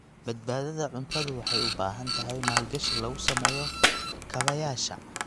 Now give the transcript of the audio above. Badbaadada cuntadu waxay u baahan tahay maalgashi lagu sameeyo kaabayaasha.